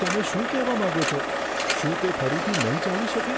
તમે શું કહેવા માગો છો? શું તે ફરીથી નહીં ચાલી શકે?